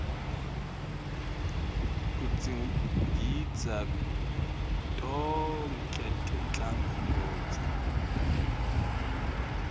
kudzingidza tonkhe tinhlangotsi